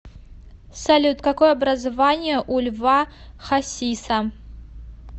салют какое образование у льва хасиса